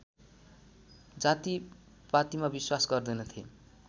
जातिपातिमा विश्वास गर्दैनथे